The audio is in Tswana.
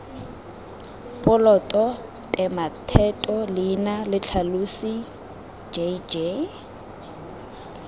poloto tematheto leina letlhalosi jj